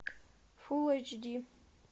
фул эйч ди